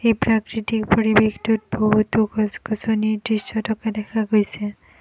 এই প্ৰাকৃতিক পৰিবেশটোত বহুতো গছ-গছনি দৃশ্য থকা দেখা গৈছে।